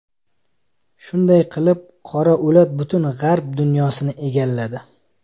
Shunday qilib, qora o‘lat butun g‘arb dunyosini egalladi.